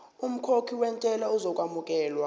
umkhokhi wentela uzokwamukelwa